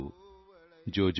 सो जाओ सो जाओ बेबी